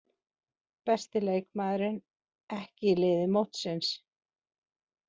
Besti leikmaðurinn ekki í liði mótsins